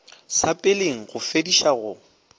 sa peleng go fediša go